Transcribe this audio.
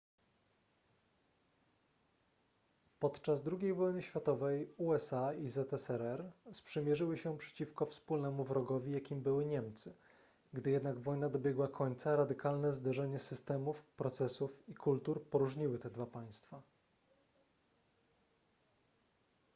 podczas ii wojny światowej usa i zsrr sprzymierzyły się przeciwko wspólnemu wrogowi jakim były niemcy gdy jednak wojna dobiegła końca radykalne zderzenie systemów procesów i kultur poróżniły te dwa państwa